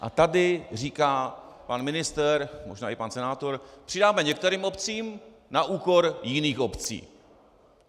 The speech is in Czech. A tady říká pan ministr, možná i pan senátor - přidáme některým obcím na úkor jiných obcí.